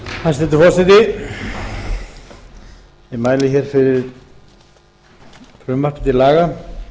hæstvirtur forseti ég mæli hér fyrir frumvarpi til laga